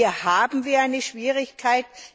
Hier haben wir eine Schwierigkeit.